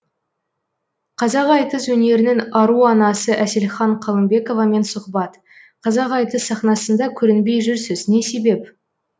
қазақ айтыс өнерінің ару анасы әселхан қалымбековамен сұхбат қазақ айтыс сахнасында көрінбей жүрсіз не себеп